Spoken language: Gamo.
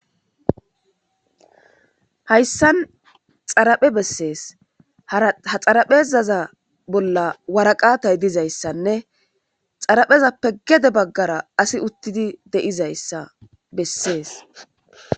Hayssan xaraphe bessees. Hara ha xaraphezaza bolla waraqaatay dizayssanne xaraphezappe gede baggara asi uttidi de'izayssa bessees.